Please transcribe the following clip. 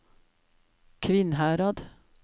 Kvinnherad